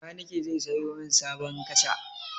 Makanike zai sayo min sabon kaca.